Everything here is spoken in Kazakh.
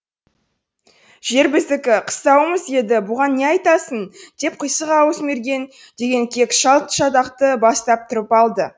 жер біздікі қыстауымыз еді бұған не айтасың деп қисық ауыз мерген деген кек шал шатақты бастап тұрып алды